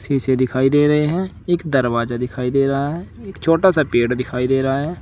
इसे दिखाई दे रहे हैं एक दरवाजा दिखाई दे रहा है एक छोटा सा पेड़ दिखाई दे रहा है।